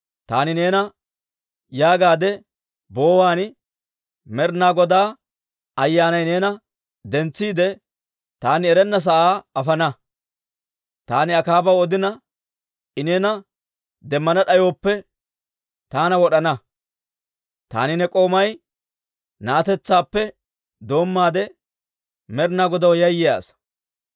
Taani neena yeggaade boowaan, Med'inaa Godaa Ayyaanay neena dentsiide, taani erenna sa'aa afana. Taani Akaabaw odina, I neena demmana d'ayooppe, taana wod'ana. Taani ne k'oomay na'atetsaadeppe doommaade Med'inaa Godaw yayyiyaa asaa.